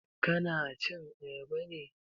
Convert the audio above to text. Ka na cin Ayaba ne?